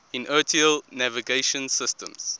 inertial navigation systems